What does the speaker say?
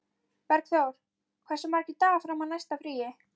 Bergþór, hversu margir dagar fram að næsta fríi?